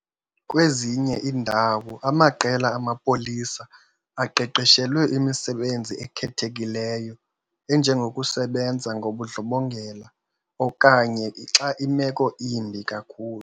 Kwezinye iindawo, amaqela amapolisa aqeqeshelwe imisebenzi ekhethekileyo enjengokusebenza ngobundlobongela, okanye xa imeko imbi kakhulu.